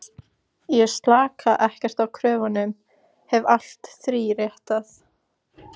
Ég slaka ekkert á kröfunum, hef alltaf þríréttað.